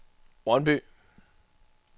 Brøndby